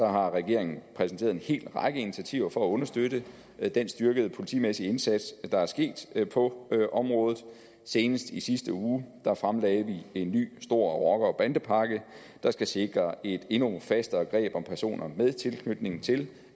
har regeringen præsenteret en hel række initiativer for at understøtte den styrkede politimæssige indsats der er sket på området senest i sidste uge fremlagde vi en ny stor rocker og bandepakke der skal sikre et endnu fastere greb om personer med tilknytning til